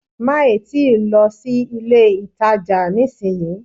Má ì tíì lọ sí ilé-ìtàjà nísìnyí